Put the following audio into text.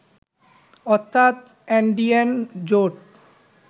অর্থাৎ এনডিএন জোট